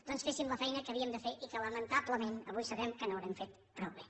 doncs féssim la feina que havíem de fer i que lamentablement avui sabem que no haurem fet prou bé